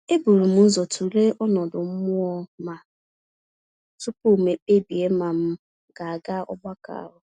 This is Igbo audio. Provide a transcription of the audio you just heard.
Eburum ụzọ tụlee ọnọdụ mmụọ ma, tupu m kpebi ma m ga-aga ogbakọ ahụ.